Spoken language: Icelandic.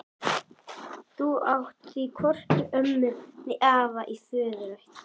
Þú átt því hvorki ömmu né afa í föðurætt.